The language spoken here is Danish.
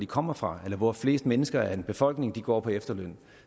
kommer fra eller hvor flest mennesker i en befolkning går på efterløn